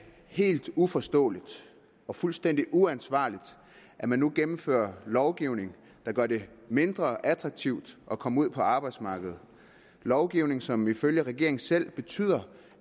helt uforståeligt og fuldstændig uansvarligt at man nu gennemfører lovgivning der gør det mindre attraktivt at komme ud på arbejdsmarkedet lovgivning som ifølge regeringen selv betyder